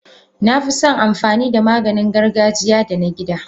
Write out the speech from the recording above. Nafison amfanida Maganin gargajiya da na gida.